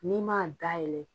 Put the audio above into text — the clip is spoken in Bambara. N'i man dayɛlɛ.